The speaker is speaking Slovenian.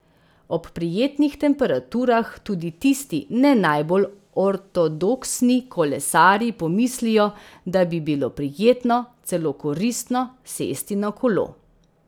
Ob prijetnih temperaturah tudi tisti ne najbolj ortodoksni kolesarji pomislijo, da bi bilo prijetno, celo koristno sesti na kolo.